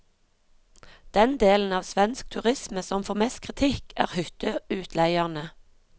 Den delen av svensk turisme som får mest kritikk, er hytteutleierne.